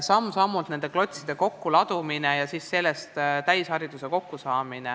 Samm-sammult tuleb need klotsid kokku laduda ja siis sellest täisharidus kokku saada.